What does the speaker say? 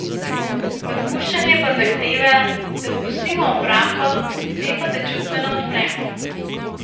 Odpuščanje pa zahteva, da spustimo obrambo, s tem pa se čustveno odpremo.